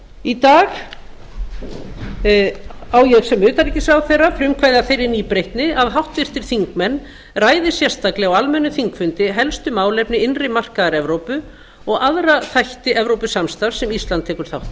í dag á ég sem utanríkisráðherra frumkvæði að þeirri nýbreytni að háttvirtir þingmenn ræði sérstaklega á almennum þingfundi helstu málefni innri markaðar evrópu og aðra þætti evrópusamstarfs sem ísland tekur þátt